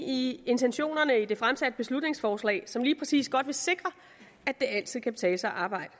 i intentionerne i det fremsatte beslutningsforslag som lige præcis vil sikre at det altid godt kan betale sig at arbejde